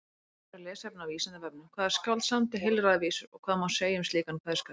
Frekara lesefni á Vísindavefnum: Hvaða skáld samdi heilræðavísur og hvað má segja um slíkan kveðskap?